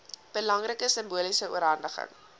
belangrike simboliese oorhandiging